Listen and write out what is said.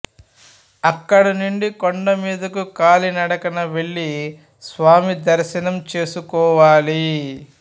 అక్కడ నుండి కొండ మీదకు కాలినడకన వెళ్లి స్వామి దర్శంనం చేసుకోవాలి